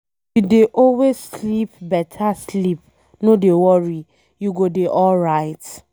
If you dey always sleep beta sleep no dey worry, you go dey alright